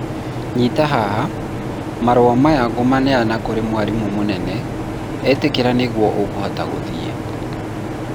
nyita haha, marũa maya ngũmaneana kũrĩ mwarimũ mũnene, etĩkĩra nĩguo ũkũhota gũthiĩ